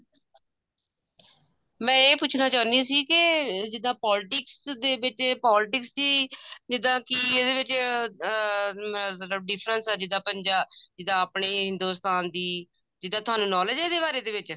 ਮੈਂ ਇਹ ਪੁੱਛਨਾ ਚਾਹੁੰਦੀ ਸੀ ਕੇ ਜਿੱਦਾਂ politics ਦੇ ਵਿੱਚ politics ਦੀ ਜਿੱਦਾਂ ਕਿ ਇਹਦੇ ਵੀ ਅਹ ਅਹ difference ਹੈ ਜਿੱਦਾਂ ਪੰਜਾਬ ਜਿੱਦਾਂ ਆਪਨੇ ਹਿੰਦੁਸਤਾਨ ਦੀ ਜਿੱਦਾਂ ਤੁਹਾਨੂੰ knowledge ਹੈ ਇਹਦੇ ਬਾਰੇ ਇਹਦੇ ਵਿੱਚ